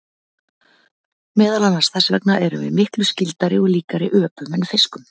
Meðal annars þess vegna erum við miklu skyldari og líkari öpum en fiskum.